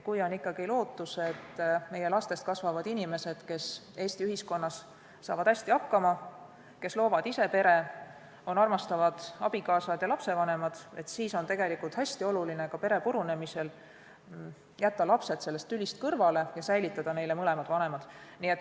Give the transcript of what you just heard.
Kui on ikkagi lootus, et meie lastest kasvavad inimesed, kes Eesti ühiskonnas saavad hästi hakkama, loovad ise pere, on armastavad abikaasad ja lapsevanemad, siis on tegelikult hästi oluline ka pere purunemise korral jätta lapsed sellest tülist kõrvale ja säilitada neile mõlemad vanemad.